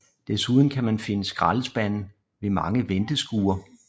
Desuden kan man finde skraldespande ved mange venteskure